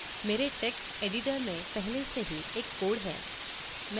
मेरे text editor में पहले से ही एक code है